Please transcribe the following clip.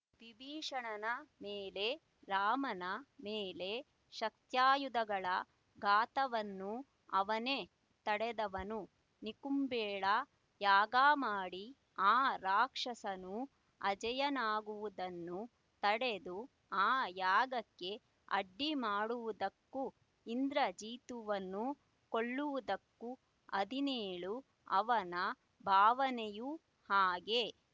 ವಿಭೀಷಣನ ಮೇಲೆ ರಾಮನ ಮೇಲೆ ಶಕ್ತ್ಯಾಯುಧಗಳ ಘಾತವನ್ನು ಅವನೇ ತಡೆದವನು ನಿಕುಂಭೆಳಾ ಯಾಗ ಮಾಡಿ ಆ ರಕ್ಷಸನು ಅಜೇಯನಾಗುವುದನ್ನು ತಡೆದು ಆ ಯಾಗಕ್ಕೆ ಅಡ್ಡಿ ಮಾಡುವುದಕ್ಕೂ ಇಂದ್ರಜಿತುವನ್ನು ಕೊಲ್ಲುವುದಕ್ಕೂ ಹದಿನೇಳು ಅವನ ಭಾವನೆಯೂ ಹಾಗೆ